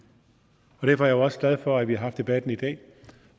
derfor jo også glad for at vi har haft debatten i dag